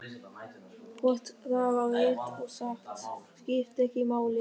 Hvort það var rétt og satt skipti ekki máli.